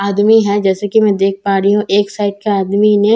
आदमी हैं जैसे की मैं देख पा रही हूँ एक साइड के आदमी ने --